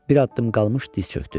Bir addım qalmış diz çökdü.